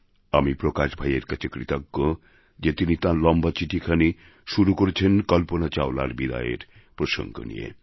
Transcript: আমি প্রকাশ ভাইয়ের কাছে কৃতজ্ঞ যে তিনি তাঁর লম্বা চিঠিখানি শুরু করেছেন কল্পনা চাওলার বিদায়ের প্রসঙ্গ দিয়ে